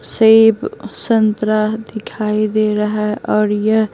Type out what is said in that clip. सेब संतरा दिखाई दे रहा है और यह --